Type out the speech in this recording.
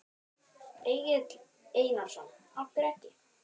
Egill Einarsson: Af hverju ekki?